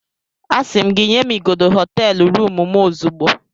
Asị m gị nye m igodo hoteelu rụmụ m ozugbo